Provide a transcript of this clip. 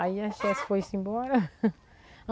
Aí a foi-se embora.